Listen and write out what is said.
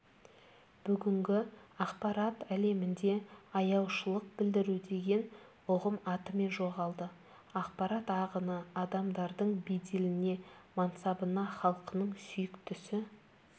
бүгінгі ақпарат әлемінде аяушылық білдіру деген ұғым атымен жоғалды ақпарат ағыны адамдардың беделіне мансабына халқының сүйіктісі